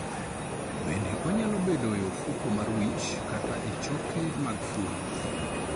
Bende onyalo bedoe e ofuko mar wich kata e choke mag fuond.